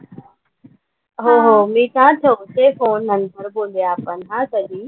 हो हो मी ना झोपतेय हो. नंतर बोलूयात आपण हां कधी.